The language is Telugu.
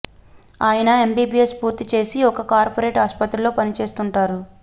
ఆయన ఎంబీబీఎస్ పూర్తి చేసి ఒక కార్పొరేట్ ఆసుపత్రిలో పని చేస్తుంటాడు